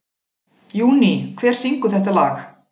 Júní, hver syngur þetta lag?